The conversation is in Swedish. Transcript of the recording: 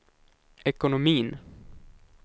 ekonomin